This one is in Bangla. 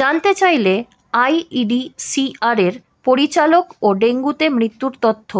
জানতে চাইলে আইইডিসিআরের পরিচালক ও ডেঙ্গুতে মৃত্যুর তথ্য